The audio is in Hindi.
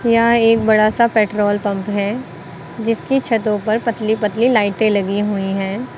यहां एक बड़ा सा पेट्रोल पंप है जिसकी छतों पर पतली पतली लाइटें लगी हुई हैं।